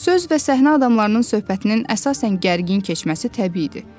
Söz və səhnə adamlarının söhbətinin əsasən gərgin keçməsi təbii idi.